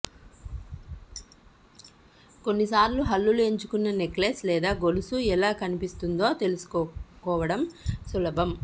కొన్నిసార్లు హల్లులు ఎంచుకున్న నెక్లెస్ లేదా గొలుసు ఎలా కనిపిస్తుందో తెలుసుకోవడం సులభం